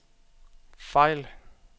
fejl